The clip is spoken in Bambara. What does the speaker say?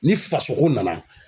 Ni fasoko nana